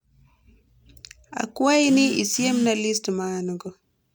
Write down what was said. akwai ni isiemna list maango